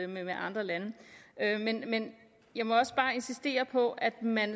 med andre lande men jeg må bare insistere på at man